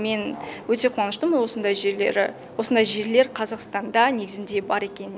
мен өте қуаныштымын осындай жерлер қазақстанда негізінде бар екен